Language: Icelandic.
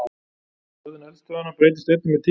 Hegðun eldstöðvanna breytist einnig með tíma.